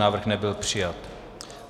Návrh nebyl přijat.